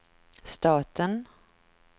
staten